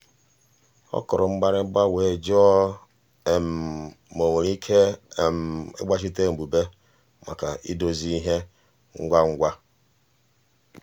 ọ kụrụ mgbịrịgba were jụọ ma um o nwere ike ịgbazite um mbụbe maka idozi ìhè ngwangwa.